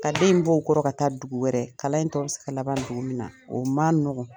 Ka den in bɔ u kɔrɔ ka taa dugu wɛrɛ, kalan in tɔɔ bɛ se ka laban dugu min na, o ma nɔgɔn